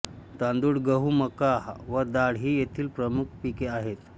तांदूळ गहू मका व डाळ ही येथील प्रमुख पिके आहेत